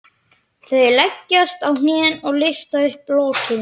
Þau leggjast á hnén og lyfta upp lokinu.